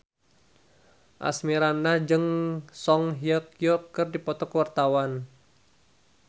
Asmirandah jeung Song Hye Kyo keur dipoto ku wartawan